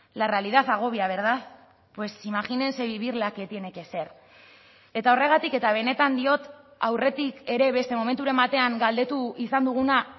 la realidad agobia verdad pues imagínense vivirla qué tiene que ser eta horregatik eta benetan diot aurretik ere beste momenturen batean galdetu izan duguna